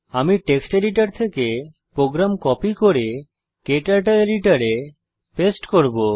আমি text editor থেকে program copy করে ক্টার্টল এডিটরে পেস্ট করব